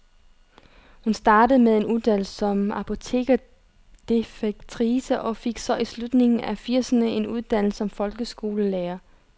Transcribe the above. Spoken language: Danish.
Hun startede med en uddannelse som apotekerdefektrice og fik så i slutningen af firserne en uddannelse som folkeskolelærer.